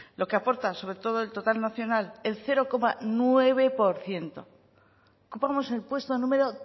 lo que aportan sobre todo el total nacional el cero coma nueve por ciento ocupamos el puesto número